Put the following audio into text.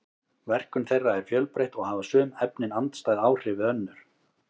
verkun þeirra er fjölbreytt og hafa sum efnin andstæð áhrif við önnur